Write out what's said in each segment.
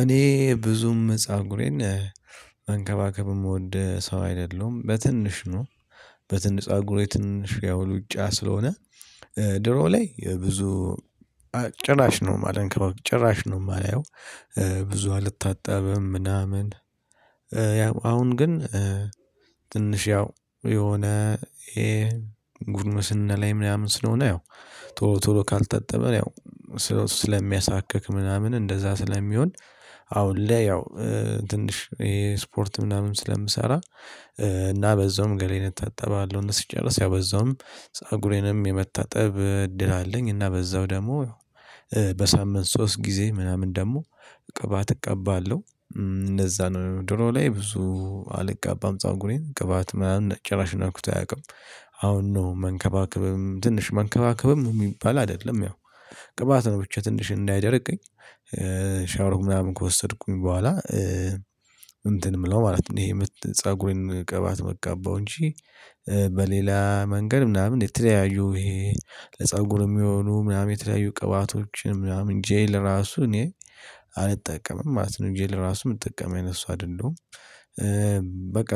እኔ ብዙም ፀጉሬን መንከባከብ ምወድ ሰው አይደለሁም በትንሽ ነው። በትንሽ ፀጉሬ ትንሽ ያው ሉጫ ስለሆነ። ድሮ ላይ የብዙ ጭራሽ ነው ማልንከባ ጭራሽ ነው የማላየው ብዙ አልታጠብም ምናምን። ያው አሁን ግን ትንሽ ያው የሆነ ይሄ ጉርምስና ላይ ምናምን ስለሆነ ያው ቶሎ ቶሎ ካልጠጠበ ያው ስለሚያሳክክ ምናምን እንደዛ ስለሚሆን። አሁን ለይ ያው ትንሽ ይሄ ስፖርት ምናምን ስለምሰራ እና በዛውም ገላዬን እታጠባለው እና ሲጨርስ ያው በዛውም ፀጉሬንም የመታጠብ እድል አለኝ እና በዛው ደግሞ በሳምንት ሶስት ጊዜ ምናምን ደግሞ ቅባት እቀባለሁ። እነዛ ነው ድሮ ላይ ብዙ አልቅባም ፀጉሬን ቅባት ምናምን ጭራሽ ነክቶ አያውቅም። አሁን ነው መንከባከብም ትንሽ መንከባከብም የሚባል አይደለም ያው ቅባት ነው ብቻ ትንሽ እንዳይደርቀኝ። ሻውሮም ምናምን ከወሰድኩኝ በኋላ እንትን ምለው ማለት ነው የምት ፀጉሬን ቅባት ምቀባው እንጂ። በሌላ መንገድ ምናምን የተለያዩ ይሄ ለፀጉር የሚሆኑ ምናምን የተለያዩ ቅባቶችን ምናምን ጄል ራሱ እኔ አልጠቀምም ማለት ነው ጄል ራሱ የምጠቀም አይነት ሰው አይደለሁም። በቃ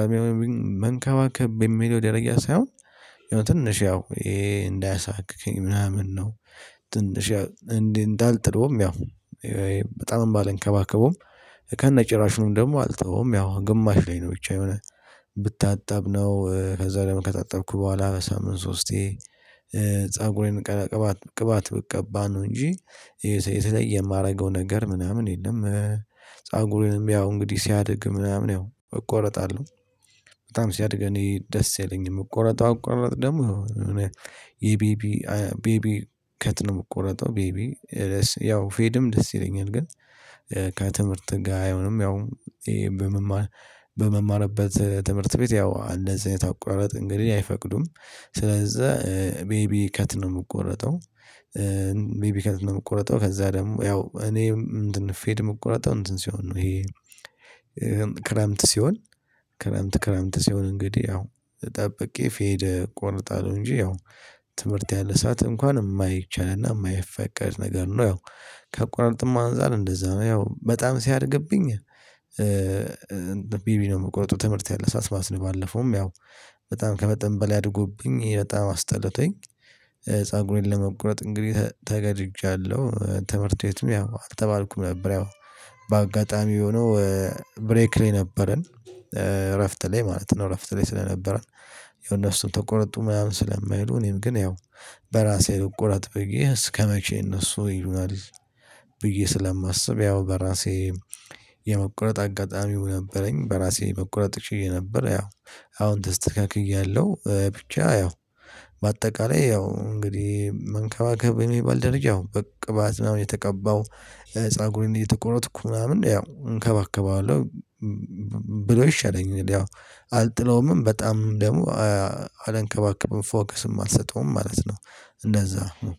መንካባከብ በሚለው ደረጃ ሳይሆን ያው ትንሽ ያው ይሄ እንዳያሳክከኝ ምናምን ነው። ትንሽ እንዴ እንዳልጥለውም ያው በጣምም ባልንከባከበውም ከነጭራሹም ደግሞ አልተወዉም ያው ግማሽ ላይ ነው ብቻ የሆነ ብታጠብ ነው ከዛ ደግሞ ከታጠብኩ በኋላ በሳምንት ሶስቴ ፀጉሬን ቅባት ብቀባ ነው። እንጂ የተለየ የማረገው ነገር ምናምን የለም። ፀጉሬንም ያው እንግዲህ ሲያድግ ምናምን ያው እቆርጣለሁ በጣም ሲያድግ እኔ ደስ አይለኝም ምቆረጠው አቆራረጥ ደግሞ የሆነ የቤቢ ቤቢ ከት ነው የምቆረጠው ቤቢ ያው ፌድም ደስ ይለኛል ግን። ከትምህርት ጋር አይሆንም ያው በመማር በመማርበት ትምህርት ቤት ያው እንደዚህ አይነት አቆራረጥ እንግዲህ አይፈቅዱም ስለዛ ቤቢ ከት ነው የምቆረጠው። ቤቢ ከት ነው የምቆረጠው ከዛ ደግሞ ያው እኔ ፌድ ምቆረጠው እንትን ሲሆን ነው ይሄ። ክረምት ሲሆን ክረምት ክረምት ሲሆን እንግዲህ ያው ጠብቄ ፌድ እቆርጣለሁ እንጂ ያው ትምህርት ያለ ሰዓት እንኳን የማይቻልና የማይፈቀድ ነገር ነው። ያው ከአቆራረጥም አንፃር እንደዛ ነው ያው በጣም ሲያድግብኝ ቤቢ ነው የምቆረጠው ትምህርት ያለ ሰዓት ማለት ነው። ባለፈውም ያው በጣም ከመጠን በላይ አድጎብኝ ይሄ በጣም አስጠልቶኝ ፀጉሬን ለመቁረጥ እንግዲህ ተገድጃለሁ ትምህርት ቤትም ያው አልተባልኩም ነበር። ያው በአጋጣሚ የሆነው ብሬክ ላይ ነበርን እረፍት ላይ ማለት ነው። እረፍት ላይ ስለነበረን ያው እነሱም ተቆረጡ ምናምን ስለማይሉ እኔም ግን ያው በራሴ ልቆረጥ ብዬ እስከመቼ እነሱ ይሉናል? ብዬ ስለማስብ ያው በራሴ የመቁረጥ አጋጣሚው ነበረኝ በራሴ መቆረጥ ችዬ ነበር። ያው አሁን ተስተካክያለሁ ብቻ ያው በአጠቃላይ ያው እንግዲህ መንከባከብ የሚባል ደረጃ ያው ቅባት ምናምን እየተቀባው ፀጉሬን እየተቆረጥኩ ምናምን ያው እንከባከበዋለሁ። ብሎ ይሻለኛል ያው አልጥለውምም በጣምም ደግሞ አላንከባከበዉም ፎከስም አልሰጠውም ማለት ነው። እንደዛ ነው።